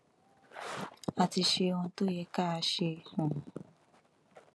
a ti ṣe ohun tó yẹ ká ṣe um